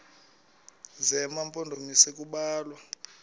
zema mpondomise kubalwa